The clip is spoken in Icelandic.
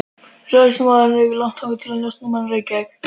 Ræðismaðurinn hafði ekki leitað langt að njósnarmanni í Reykjavík.